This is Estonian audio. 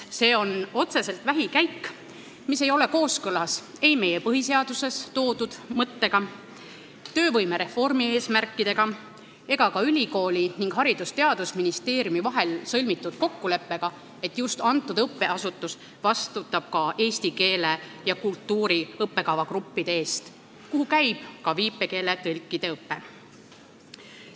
See on otseselt vähikäik, mis ei ole kooskõlas ei meie põhiseaduses toodud mõttega, töövõimereformi eesmärkidega ega ka ülikooli ning Haridus- ja Teadusministeeriumi vahel sõlmitud kokkuleppega, et just see õppeasutus vastutab eesti keele ja kultuuri õppekava eest, kuhu on kuulunud ka viipekeele tõlkide õpe.